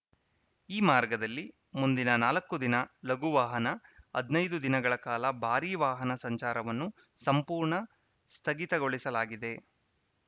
ಈ ಮಾರ್ಗದಲ್ಲಿ ಮುಂದಿನ ನಾಲ್ಕು ದಿನ ಲಘುವಾಹನ ಹದಿನೈದು ದಿನಗಳ ಕಾಲ ಭಾರೀ ವಾಹನ ಸಂಚಾರವನ್ನು ಸಂಪೂರ್ಣ ಸ್ಥಗಿತಗೊಳಿಸಲಾಗಿದೆ